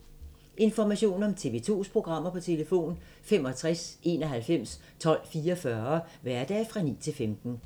Information om TV 2's programmer: 65 91 12 44, hverdage 9-15.